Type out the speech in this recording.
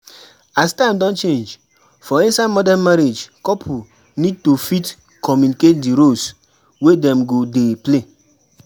As time don change, for inside modern marriage couple need to fit communicate di roles wey dem go dey play